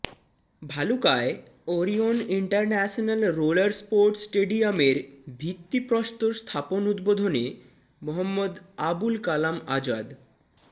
ভালুকায় Orion international roller sports স্টেডিয়ামের ভিত্তি প্রস্তর স্থাপন উদ্বোধনে মোঃ আবুল কালাম আজাদ